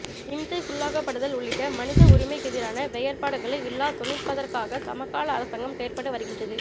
இம்சைக்குள்ளாக்கப்படுதல் உள்ளிட்ட மனித உரிமைக்கெதிரான வெயற்பாடுகளை இல்லாதொழிப்தற்காக சமகால அரசாங்கம் செயற்பட்டு வருகின்றது